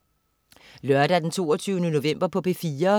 Lørdag den 22. november - P4: